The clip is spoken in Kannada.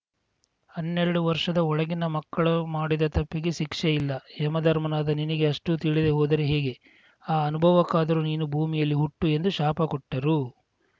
ಹನ್ನೆರಡು ವರ್ಷದ ಒಳಗಿನ ಮಕ್ಕಳು ಮಾಡಿದ ತಪ್ಪಿಗೆ ಶಿಕ್ಷೆ ಇಲ್ಲ ಯಮಧರ್ಮನಾದ ನಿನಗೆ ಅಷ್ಟೂತಿಳಿಯದೇ ಹೋದರೆ ಹೇಗೆ ಈ ಅನುಭವಕ್ಕಾದರೂ ನೀನು ಭೂಮಿಯಲ್ಲಿ ಹುಟ್ಟು ಎಂದು ಶಾಪ ಕೊಟ್ಟರು